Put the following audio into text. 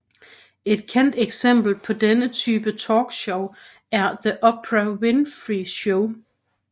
Et kendt eksempel på denne type talkshow er The Oprah Winfrey Show